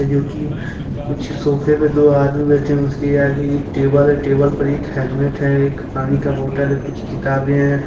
जोकि कुछ सोफे पर दो आदमी बैठे हैं उसके आगे एक टेबल है टेबल पर एक हेलमेट है एक पानी का बोतल कुछ किताबें हैं।